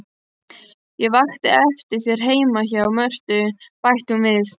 Ég vakti eftir þér heima hjá Mörtu, bætti hún við.